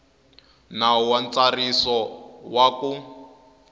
nawu wa ntsariso wa ku